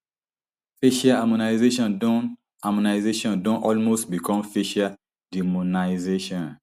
facial harmonisation don harmonisation don almost become facial demonisation